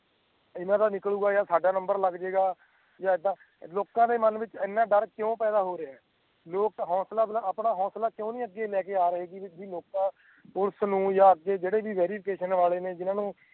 ਇਨ੍ਹਾਂ ਦਾ ਨਿਕਲੂ ਗਏ ਯਾ ਸਾਡਾ ਨੰਬਰ ਲੱਗ ਜਾਏਗਾ ਯਾ ਏਦਾਂ ਲੋਕਾਂ ਦੇ ਮਾਨ ਵਿੱਚ ਇਨ੍ਹਾਂ ਡਰ ਕਿਉ ਪੈਦਾ ਹੋ ਰਹੀਆਂ ਲੋਕ ਹੌਸਲਾ ਆਪਣਾ ਹੌਸਲਾ ਕਿਊ ਨਹੀਂ ਅਗੇ ਲੈਕੇ ਅੱਗੇ ਆ ਰਹੀਏ ਜੀ ਮੌਕਾ ਪੁਲਿਸ ਨੂੰ ਯਾ ਅੱਗੇ ਜੇੜੇ ਵੇਰਿਫਿਕੇਸ਼ਨ ਵਾਲੇ ਨੇ ਜਿਨ੍ਹਾਂ ਨੂੰ